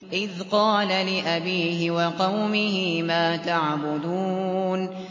إِذْ قَالَ لِأَبِيهِ وَقَوْمِهِ مَا تَعْبُدُونَ